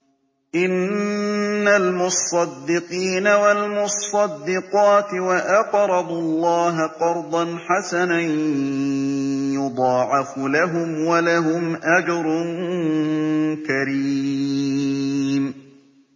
إِنَّ الْمُصَّدِّقِينَ وَالْمُصَّدِّقَاتِ وَأَقْرَضُوا اللَّهَ قَرْضًا حَسَنًا يُضَاعَفُ لَهُمْ وَلَهُمْ أَجْرٌ كَرِيمٌ